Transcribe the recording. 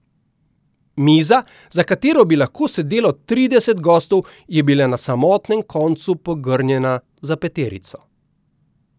Miza, za katero bi lahko sedelo trideset gostov, je bila na samotnem koncu pogrnjena za peterico.